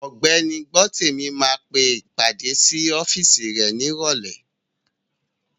Ògbẹ́ni Gbọ́tèmi máa pe ìpàdé sí ọ́físì rẹ̀ ní ìrọ̀lẹ́